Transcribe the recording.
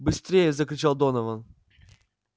быстрее закричал донован